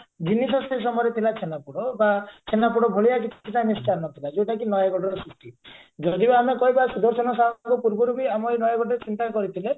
ଜିନିଷ ସେଇ ସମୟରେ ଥିଲା ଛେନାପୋଡ ବା ଛେନାପୋଡ ଭଳିଆ କିଛି ମିଷ୍ଠାନ୍ନ ନଥିଲା ଯଉଟାକି ନୟାଗଡର ସୃଷ୍ଟି ଯଦି ବି ଆମେ କହିବା ସୁଦର୍ଶନ ସାହୁଙ୍କ ପୂର୍ବରୁ ବି ଆମ ଏଇ ନୟାଗଡରେ ଚିନ୍ତା କରିଥିଲେ